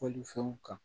Fɔlifɛnw kan